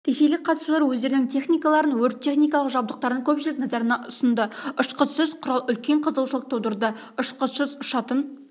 ресейлік қатысушылар өздерінің техникаларын өрт-техникалық жабдықтарын көпшілік назарына ұсынды ұшқышсыз құрал үлкен қызығушылық тудырды ұшқышсыз ұшатын